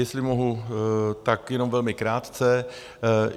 Jestli mohu, tak jenom velmi krátce.